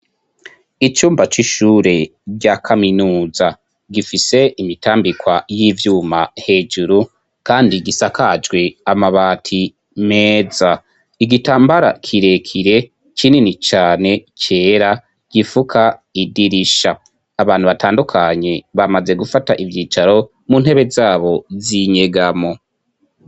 Icumba c'ishure rya kaminuza ,gifise imitambikwa y'ivyuma hejuru, kandi igisakajwe amabati meza, igitambara kirekire kinini cane, cera gifuka idirisha, abantu batandukanye bamaze gufata ivyicaro mu ntebe zabo z'inyegamo.